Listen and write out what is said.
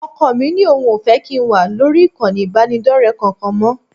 Ọkọ mí ní òun ò fẹ́ kí n wà lórí ìkànnì ìbánidọ́rẹ̀ẹ́ kankan mọ́